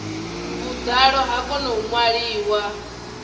vhuḓalo ha kona u ṅwaliwa